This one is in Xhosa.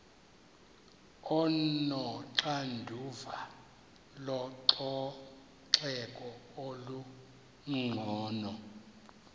onoxanduva lococeko olungcono